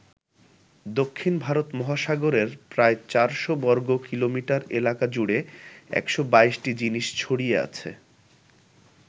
দক্ষিণ ভারত মহাসাগরের প্রায় চারশো বর্গকিলোমিটার এলাকা জুড়ে ১২২টি জিনিস ছড়িয়ে আছে।